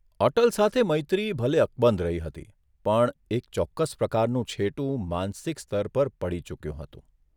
અટલ સાથે મૈત્રી ભલે અકબંધ રહી હતી પણ એક ચોક્કસ પ્રકારનું છેટું માનસિક સ્તર પર પડી ચૂક્યું હતું.